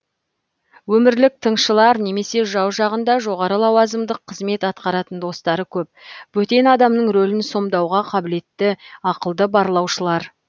өмірлік тыңшылар немесе жау жағында жоғары лауазымдық қызмет атқаратын достары көп бөтен адамның рөлін сомдауға қабілетті ақылды барлаушылар